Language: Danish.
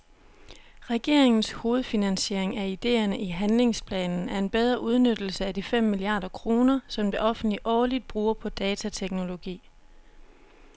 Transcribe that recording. Regeringens hovedfinansiering af ideerne i handligsplanen er en bedre udnyttelse af de fem milliarder kroner, som det offentlige årligt bruger på datateknologi.